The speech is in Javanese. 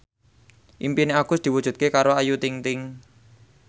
impine Agus diwujudke karo Ayu Ting ting